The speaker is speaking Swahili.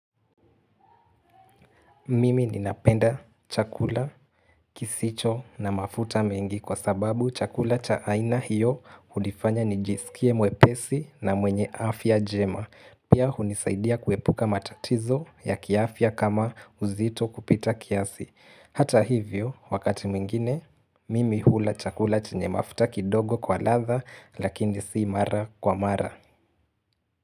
Mimi ninapenda chakula kisicho na mafuta mengi kwa sababu chakula cha aina hiyo hunifanya nijisikie mwepesi na mwenye afya njema Pia hunisaidia kuepuka matatizo ya kiafya kama uzito kupita kiasi Hata hivyo wakati mwingine mimi hula chakula chenye mafuta kidogo kwa ladha lakini si mara kwa mara.